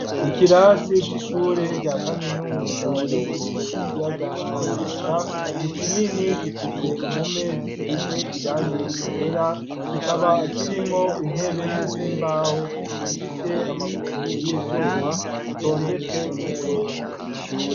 Ikirasi c'ishure rya kaminuza ryitiriwe ikiyaga Tanganyika ni kinini gifise impome zisize irangi ryera kikaba kirimwo intebe z'imbaho zifise amaguru y'ivyuma zitondetse kumurongo.